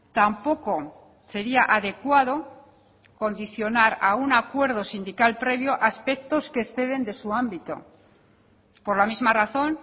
tampoco sería adecuado condicionar a un acuerdo sindical previo aspectos que exceden de su ámbito por la misma razón